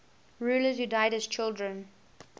rulers who died as children